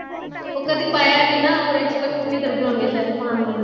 ਉਹ ਕਦੀ ਪਾਇਆ ਨੀਂ ਨਾ ਉਹ expect ਨੀਂ ਕਰਦੇ ਹੋਣਗੇ ਸਾਇਦ ਪਾਣ ਵੱਲ